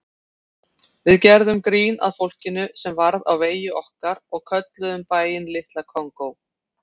Við gerðum grín að fólkinu sem varð á vegi okkar og kölluðum bæinn Litla Kongó.